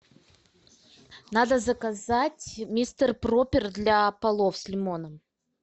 надо заказать мистер проппер для полов с лимоном